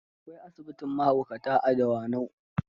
Akwai asibitin mahaukata a Dawanau.